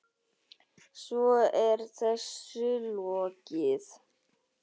Svo er þessu lokið?